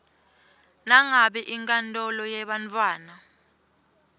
nangabe inkantolo yebantfwana